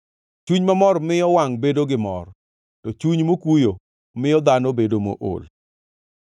Chuny mamor miyo wangʼ bedo gi mor, to chuny mokuyo miyo dhano bedo mool.